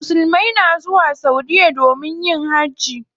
Musulmai na zuwa saudiya domin yin hajji.